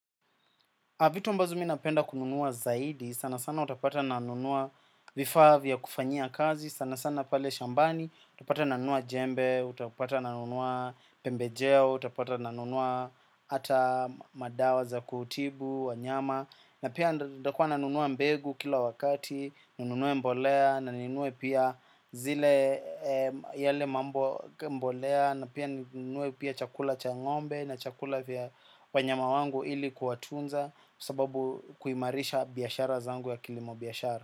Vitu ambazo mimi napenda kununua zaidi, sana sana utapata nanunua vifaa vya kufanyia kazi, sana sana pale shambani, utapata nanunua jembe, utapata nanunua pembejeo, utapata nanunua ata madawa za kutibu, wanyama. Na pia ntakuwa nanunua mbegu kila wakati, ninunue mbolea na ninunue pia zile yale mambo mbolea na pia ninunue pia chakula cha ngombe na chakula vya wanyama wangu ili kuwatunza sababu kuimarisha biashara zangu ya kilimo biashara.